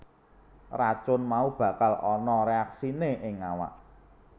Racun mau bakal ana reaksiné ing awak